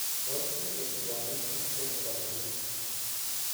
Tos ingen tiongik ingicho chebo timin?